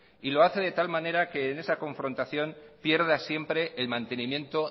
y lo hace de tal manera que en esa confrontación pierda siempre el mantenimiento